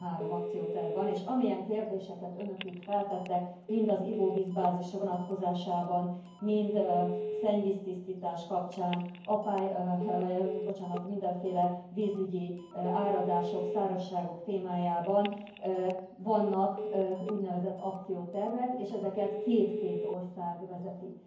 13 akcióterv van, és amilyen kérdéseket önök itt feltettek mind az ivóvízbázis vonatkozásában, mind szennyvíztisztítás kapcsán, mindenféle vízügyi áradások, szárazságok témájában vannak úgynevezett akciótervek, és ezeket két két ország vezeti.